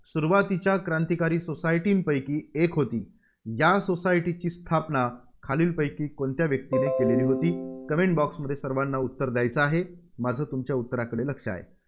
सुरुवातीच्या क्रांतिकारी society पैकी एक होती, या society ची स्थापना खालीलपैकी कोणत्या व्यक्तीने केलेली होती. Comment box मध्ये सर्वांना उत्तर द्यायचं आहे. माझं तुमच्या उत्तरांकडे लक्ष आहे.